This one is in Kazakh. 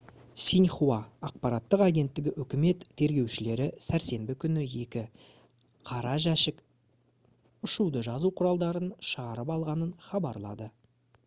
«синьхуа» ақпараттық агенттігі үкімет тергеушілері сәрсенбі күні екі «қара жәшік» ұшуды жазу құралдарын шығарып алғанын хабарлады